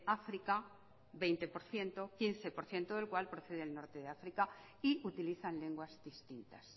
áfrica veinte por ciento quince por ciento del cual proceden del norte de áfrica y utilizan lenguas distintas